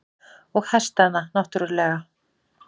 Og hestana náttúrlega.